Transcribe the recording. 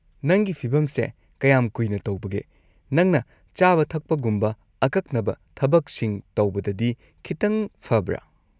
ꯅꯪꯒꯤ ꯐꯤꯚꯝꯁꯦ ꯀꯌꯥꯝ ꯀꯨꯏꯅ ꯇꯧꯕꯒꯦ, ꯅꯪꯅ ꯆꯥꯕ ꯊꯛꯄꯒꯨꯝꯕ ꯑꯀꯛꯅꯕ ꯊꯕꯛꯁꯤꯡ ꯇꯧꯕꯗꯗꯤ ꯈꯤꯇꯪ ꯐꯕ꯭ꯔꯥ?